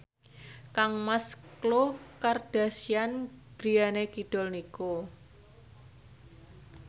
kangmas Khloe Kardashian griyane kidul niku